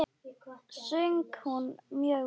Söng hún mjög vel.